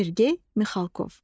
Sergey Mixalkov.